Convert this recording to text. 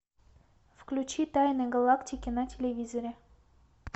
включи тайны галактики на телевизоре